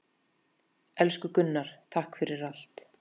Elsku Gunnar, takk fyrir allt.